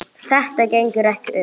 Þetta gengur ekki upp.